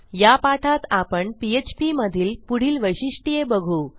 या पाठात आपण phpमधील पुढील वैशिष्टये बघू